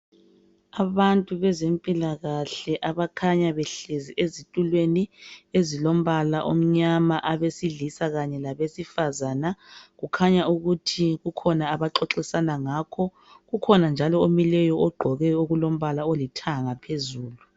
Abantu bezempilakahle abakhanya behlezi ezitulweni ezilombala omnyama. Abesilisa kanye labesifazana kukhanya ukuthi kukhona abaxoxisana ngakho. Ukhona njalo omileyo ogqoke okulombala olithanga phezulu.